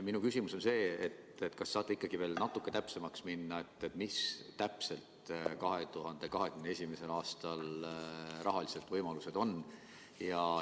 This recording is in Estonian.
Minu küsimus on see: kas saate veel natukene täpsemaks minna, millised on 2021. aastal rahalised võimalused?